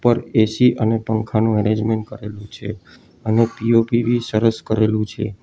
ઉપર એ_સી અને પંખાનું એરેન્જમેન્ટ કર્યું છે અને પી_ઓ_પી બી સરસ કરેલું છે.